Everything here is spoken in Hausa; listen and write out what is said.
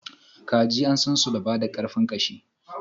kaji an sansu da bada karfin ƙashi.